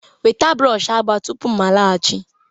Weta brush agba tupu m laghachi